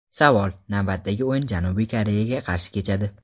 Savol: Navbatdagi o‘yin Janubiy Koreyaga qarshi kechadi.